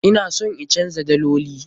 Ina son in canza daloli.